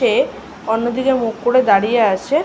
তে অন্য দিকে মুখ করে দাঁড়িয়ে আছে।